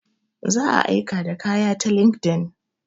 Za a aika da kaya ta linkedIn.